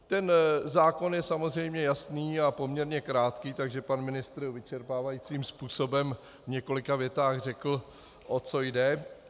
Ten zákon je samozřejmě jasný a poměrně krátký, takže pan ministr vyčerpávajícím způsobem v několika větách řekl, o co jde.